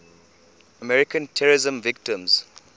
american terrorism victims